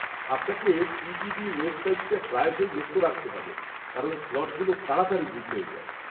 -আপনাকে টিটিডি ওয়েবসাইটটা প্রায়শই লক্ষ্য রাখতে হবে কারণ স্লটগুলো তাড়াতাড়ি বুক হয়ে যায়।